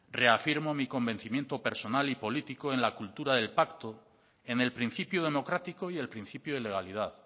reafirmo mi convencimiento personal y político en la cultura del pacto en el principio democrático y el principio de legalidad